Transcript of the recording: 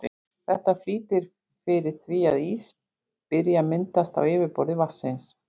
Þetta flýtir fyrir því að ís byrji að myndast á yfirborði vatnsins.